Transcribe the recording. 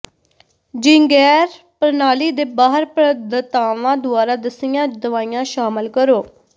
ਜੈਿੰਗਰ ਪ੍ਰਣਾਲੀ ਦੇ ਬਾਹਰ ਪ੍ਰਦਾਤਾਵਾਂ ਦੁਆਰਾ ਦੱਸੀਆਂ ਦਵਾਈਆਂ ਸ਼ਾਮਲ ਕਰੋ